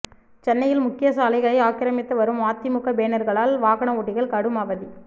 சென்னையின் முக்கிய சாலைகளை ஆக்கிரமித்து வரும் அதிமுக பேனர்களால் வாகன ஓட்டிகள் கடும் அவதி